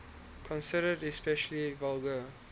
considered especially vulgar